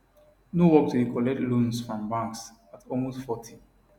no work to dey collect loans from banks at almost 40